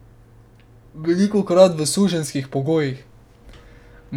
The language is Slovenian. Velikokrat v suženjskih pogojih.